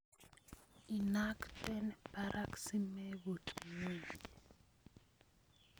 Inakten barak simebut ngweny.